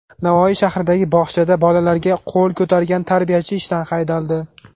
Navoiy shahridagi bog‘chada bolalarga qo‘l ko‘targan tarbiyachi ishdan haydaldi.